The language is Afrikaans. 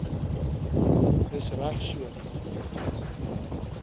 dis reg so